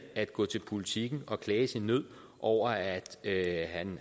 at gå til politiken og klage sin nød over at at